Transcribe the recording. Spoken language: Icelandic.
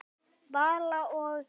Vala og